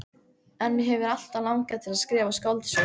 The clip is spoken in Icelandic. En mig hefur alltaf langað til að skrifa skáldsögu.